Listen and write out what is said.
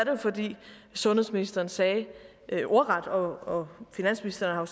jo fordi sundhedsministeren sagde ordret og finansministeren har